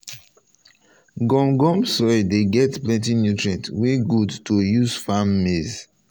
gum gum soil dey get plenty nutrient wey good to use farm maize.